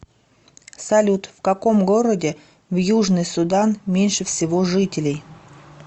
салют в каком городе в южный судан меньше всего жителей